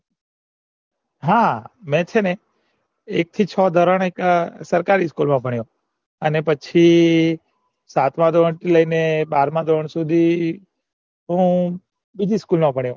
હા મેં સેને એક થી છ ધોરણ સરકારી school માં ભણ્યો અને પછી સાતમાં ધોરણ લઈને બારમાં ધોરણ સુધી હું બીજી school મ ભણ્યો